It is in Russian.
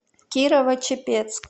кирово чепецк